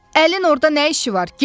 Əlin orda nə işi var?